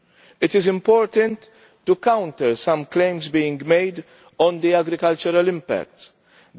It is important to counter some claims being made on the impact of agriculture.